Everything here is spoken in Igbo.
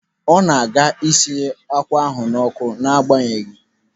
Ọ na-aga isi akwa ahụ n'ọkụ n'agbanyeghị.